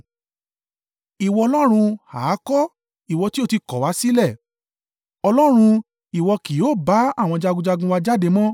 Ìwọ Ọlọ́run ha kọ́, ìwọ tí ó ti kọ̀ wá sílẹ̀. Ọlọ́run ìwọ kì yóò bá àwọn jagunjagun wa jáde mọ́.